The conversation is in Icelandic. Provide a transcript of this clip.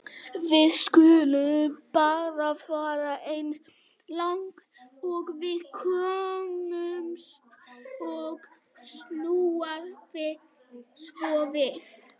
Við skulum bara fara eins langt og við komumst og snúa svo við.